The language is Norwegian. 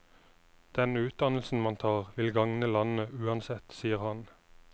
Den utdannelsen man tar, vil gagne landet uansett, sier han.